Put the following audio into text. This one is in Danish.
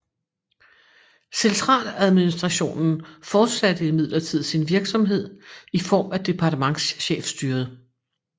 Centraladministrationen fortsatte imidlertid sin virksomhed i form af Departementschefstyret